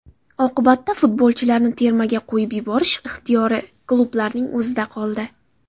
Oqibatda futbolchilarni termaga qo‘yib yuborish ixtiyori klublarning o‘zida qoldi.